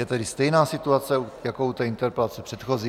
Je tedy stejná situace jako u té interpelace předchozí.